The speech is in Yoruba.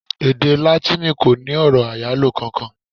Èdè Látíìnì kò ní ọ̀rọ̀ àyálò kankan.